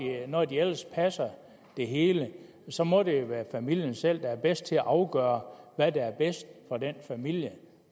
når de ellers passer det hele så må det jo være familien selv der er bedst til at afgøre hvad der er bedst for den familie og